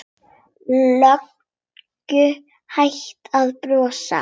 Löngu hættur að brosa.